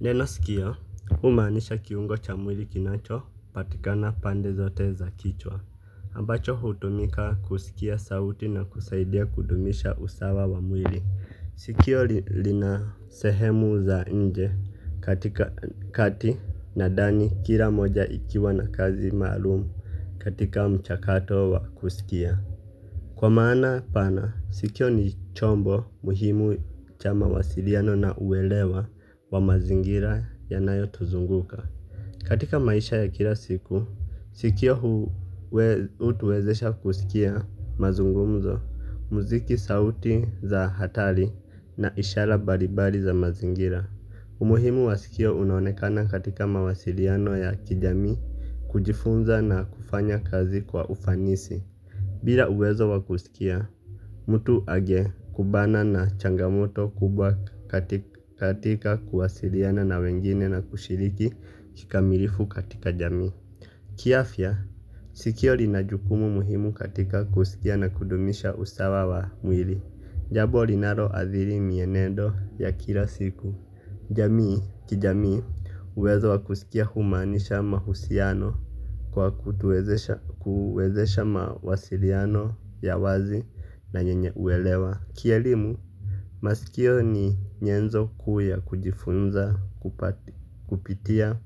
Neno sikio humaanisha kiungo cha mwili kinacho patikana pande zote za kichwa ambacho hutumika kusikia sauti na kusaidia kudumisha usawa wa mwili. Sikio lina sehemu za nje katika kati na dani kila moja ikiwa na kazi maalumu katika mchakato wa kusikia. Kwa maana pana, sikio ni chombo muhimu cha mawasiliano na uelewa wa mazingira yanayo tuzunguka. Katika maisha ya kila siku sikio hutuwezesha kusikia mazungumzo mziki sauti za hatari na ishara mbalimbali za mazingira. Umuhimu wa sikio unaonekana katika mawasiliano ya kijami kujifunza na kufanya kazi kwa ufanisi. Bila uwezo wakusikia, mtu age kubana na changamoto kubwa katika kuwasiliana na wengine na kushiliki kikamilifu katika jamii. Kiafya sikio linajukumu muhimu katika kusikia na kudumisha usawa wa mwili jambo linaloathiri mienendo ya kila siku jamii, kijamii, uwezo wa kusikia humaanisha mahusiano kwa kutuezesha mawasiriano ya wazi na yenye uelewa. Kielimu masikio ni nyenzo kuu ya kujifunza kupitia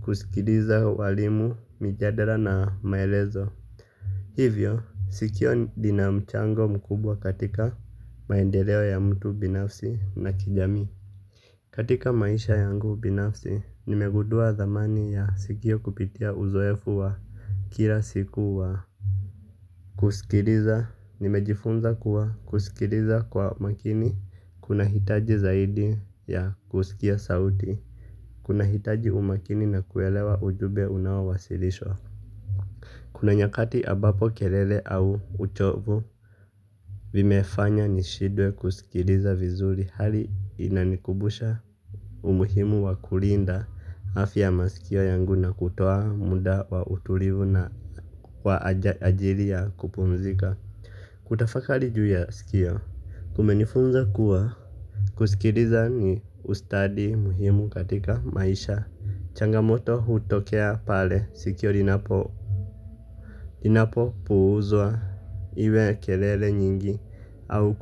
kusikiliza walimu mijadala na maelezo. Hivyo, sikio linamchango mkubwa katika maendeleo ya mtu binafsi na kijamii. Katika maisha yangu binafsi, nimegudua thamani ya sikio kupitia uzoefu wa kila siku wa kusikiriza. Nimejifunza kuwa kusikiriza kwa makini, kuna hitaji zaidi ya kusikia sauti, kuna hitaji umakini na kuelewa ujube unaowasilishwa. Kuna nyakati abapo kelele au uchovu, vimefanya nishidwe kusikiriza vizuri hali inanikubusha. Umuhimu wa kulinda afya masikio yangu na kutoa muda wa utulivu na kwa ajili ya kupumzika. Kutafakali ju ya sikio kumenifunza kuwa kusikiriza ni ustadi muhimu katika maisha. Changamoto hutokea pale sikio linapo puuzwa iwe kelele nyingi au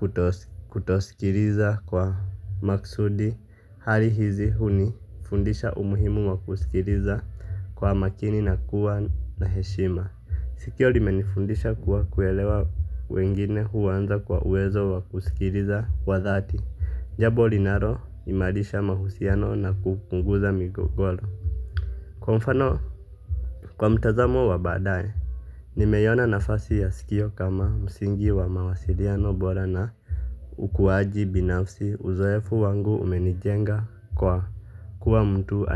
kutosikiriza kwa maksudi hali hizi hunifundisha umuhimu wa kusikiriza kwa makini na kuwa na heshima. Sikio limenifundisha kuwa kuelewa wengine huwanza kwa uwezo wa kusikiriza kwa dhati. Njabo linaro imalisha mahusiano na kukunguza migogoro. Kwa mfano kwa mtazamo wa badaye nimeiyona nafasi ya sikio kama msingi wa mawasiriano bora na ukuwaji binafsi uzoefu wangu umenijenga kwa kuwa mtu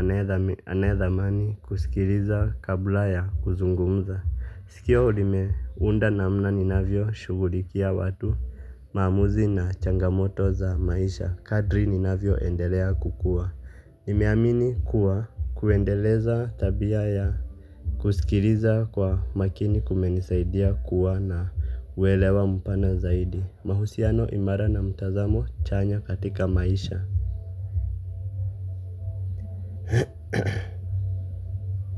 anaedhamani kusikiriza kabla ya kuzungumza. Sikio lime unda na mna ninavyo shugulikia watu mamuzi na changamoto za maisha. Kadri ninavyo endelea kukua. Nimeamini kuwa kuendeleza tabia ya kusikiriza kwa makini kumenisaidia kuwa na uwelewa mpana zaidi. Mahusiano imara na mutazamo chanya katika maisha.